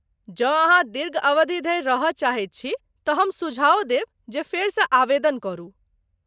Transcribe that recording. जँ अहाँ दीर्घअवधि धरि रहय चाहै छी तँ हम सुझाओ देब जे फेरसँ आवेदन करू।